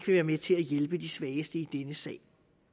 være med til at hjælpe de svageste i denne sag